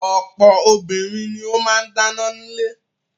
Ọ̀pọ̀ obìnrin ni ó máa ń dáná nílé.